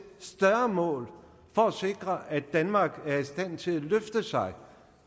større mål for at sikre at danmark er i stand til at løfte sig